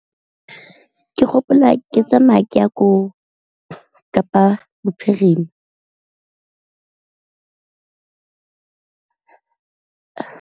Ke gopola ke tsamaya ke ya ko Kapa Bophirima.